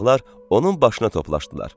Uşaqlar onun başına toplaşdılar.